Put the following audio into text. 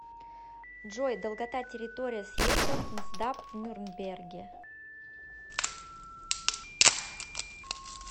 джой долгота территория съездов нсдап в нюрнберге